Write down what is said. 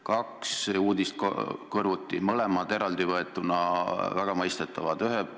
Kaks uudist kõrvuti, mõlemad eraldi võetuna väga mõistetavad.